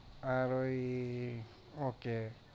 আর ওই okay